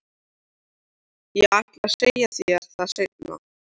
Ég ætlaði að segja þér það seinna.